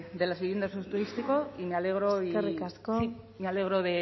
de las viviendas de uso turístico y me alegro y eskerrik asko me alegro